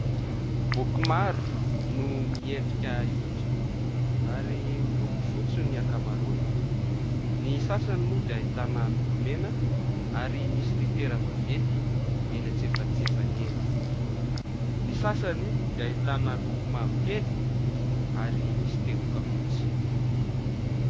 Boky maro no miendrika efa-joro ary miloko fotsy ny ankamaroany. Ny sasany moa dia ahitana loko mena ary misy litera vaventy eny antsefatsefany eny. Ny sasany dia ahitana loko mavokely ary misy teboka fotsy.